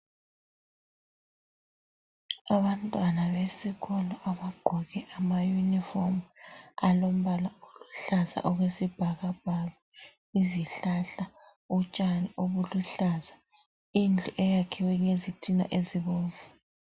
Abantwana besikolo abagqoke ama uniform alombala oluhlaza okwesibhakabhaka. Izihlahla ,utshani obuluhlaza. Indlu eyakhiwe ngezitina ezibomvu.